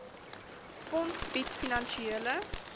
fonds bied finansiële